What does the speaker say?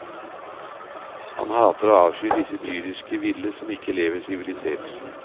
Han hater og avskyr disse dyriske ville som ikke lever sivilisert.